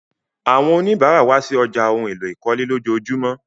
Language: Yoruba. Àwọn oníbàrà wa sí ọ̀já awọn ohun èlò ìkọ́lé lọjọọjumọ.